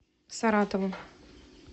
саратову